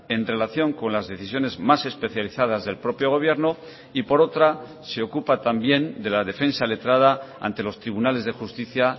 en relación con las decisiones más especializadas del propio gobierno y por otra se ocupa también de la defensa letrada ante los tribunales de justicia